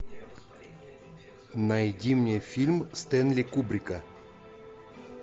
найди мне фильм стэнли кубрика